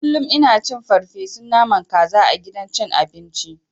Kullun ina cin farfeson naman kaza a gidan cin abinci.